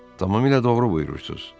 Tamamilə doğru buyurursuz.